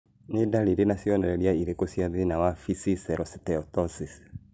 Nĩ ndariri na cionereria irĩkũ cia thĩna wa Visceral steatosis?